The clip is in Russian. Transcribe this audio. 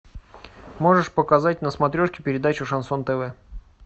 можешь показать на смотрешке передачу шансон тв